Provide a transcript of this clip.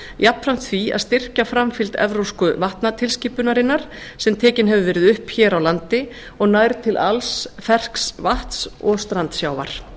jafnframt því að styrkja framfylgd evrópsku vatnatilskipunarinnar sem tekin hefur verið upp hér á landi og nær til alls fersks vatns og strandsjávar